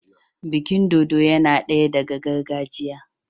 Bikin dodo yinadaya daga gargajiya